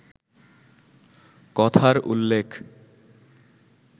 কথার উল্লেখ